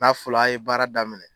N'a fɔra a ye baara daminɛ.